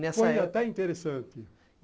Foi até interessante.